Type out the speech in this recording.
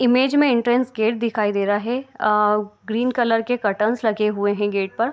Image में entrance gate दिखाई दे रहा है और ग्रीन कलर के कर्टेन्स लगे हुए हैं गेट पर।